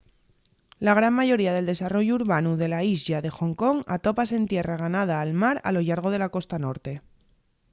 la gran mayoría del desarrollu urbanu de la islla de ḥong kong atópase en tierra ganada al mar a lo llargo de la costa norte